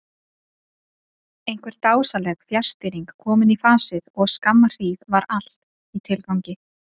Einhver dásamleg fjarstýring komin í fasið og skamma hríð var allt í tilgangi.